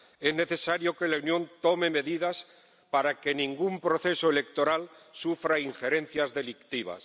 Es necesario que la Unión tome medidas para que ningún proceso electoral sufra injerencias delictivas.